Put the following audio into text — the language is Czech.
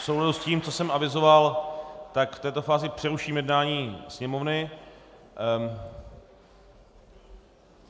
V souladu s tím, co jsem avizoval, v této fázi přeruším jednání Sněmovny.